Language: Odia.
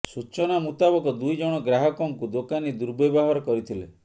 ସୂଚନା ମୁତାବକ ଦୁଇ ଜଣ ଗ୍ରାହକଙ୍କୁ ଦୋକାନୀ ଦୁର୍ବ୍ୟବହାର କରିଥିଲେ